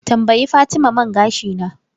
Tambayi fatima man gashi na.